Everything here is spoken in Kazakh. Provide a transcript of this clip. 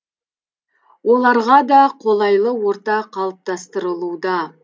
оларға да қолайлы орта қалыптастырылуда